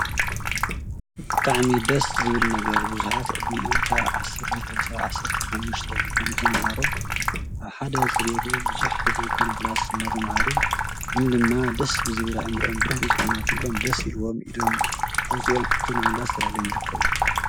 ብሓዕሚ ደስ ዝብል ነገር ብዙሓት ዕድሚኦም ካብ ዓሰርተ ክልተ ክሳብ ዓሰርተ ሓሙሽተ ዝኾኑ ተምሃሮ ኣብ ሓደ ፅርየቱ ብዙሕ ዘይኮነ ክላስ እንዳተምሃሩ ግን ድማ ደስ ዝብል ኣእምርኦም ብሩህ ብዝኮነ ኩሎም ደስ ኢልዎም ኢዶም ኣውፂኦም ሕቶ ንምምላስ ተዳልዮም ይርከቡ ።